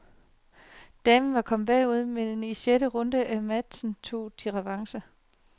Damerne var kommet bagud, men i sjette runde af matchen tog de revanche.